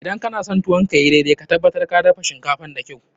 Idan kana son tuwo ka ya yi daidai, ka tabbata ka dafa shinkafan da kyau.